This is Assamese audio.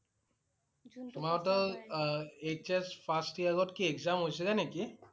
তোমাৰ হঁতৰ~অ HS first year ত কি exam হৈছিলে নেকি?